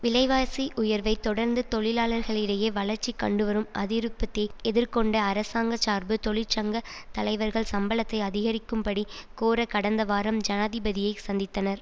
விலைவாசி உயர்வைத் தொடர்ந்து தொழிலாளர்களிடையே வளர்ச்சி கண்டுவரும் அதிருப்தி எதிர்கொண்ட அரசாங்க சார்பு தொழிற்சங்க தலைவர்கள் சம்பளத்தை அதிகரிக்கும்படி கோர கடந்த வாரம் ஜனாதிபதியைச் சந்தித்தனர்